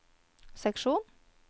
seksjon